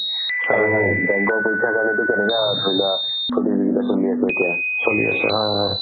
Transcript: আৰু bank ৰ পৰীক্ষাৰ কাৰণেতো তেনেকুৱা ধৰিলোৱা প্ৰতিযোগিতা চলি আছে এতিয়া